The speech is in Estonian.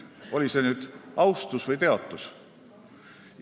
Oli see nüüd austus või teotus?